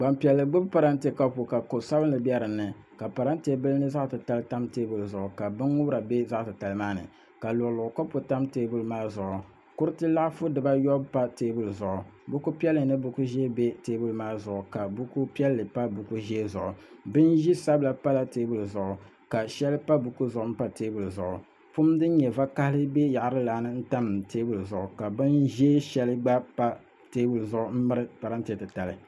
Gbanpiɛllo gbubi parantɛ ka bin sabinli bʋ dinni parantɛ zaɣ titali ni zaɣ bila ka binŋubira bɛ zaɣ titali maa ni ka luɣu luɣu kopu tam teebuli maa zuɣu kuriti laɣafu dibayobu pa ya ka buku piɛlli pa buku ʒiɛ zuɣu bin ʒiɛ sabila pala teebuli zuɣu ka shɛli pa buku zuɣu n pa teebuli zuɣu pum din nyɛ vakaɣili bɛ yaɣari laa ni tam teebuli zuɣu ka bin ʒiɛ shɛli gba pa teebuli zuɣu n miri parantɛ titali